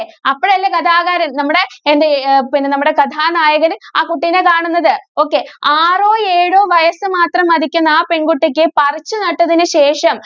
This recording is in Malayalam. അപ്പഴല്ലേ കഥാകാരന്‍ നമ്മുടെ എന്ത് അഹ് പിന്നെ നമ്മുടെ കഥാനായകന്‍ ആ കുട്ടീനെ കാണുന്നത്. okay ആറോ, ഏഴോ വയസ്സ് മാത്രം മതിക്കുന്ന ആ പെണ്‍കുട്ടിക്ക് പറിച്ചുനട്ടതിനു ശേഷം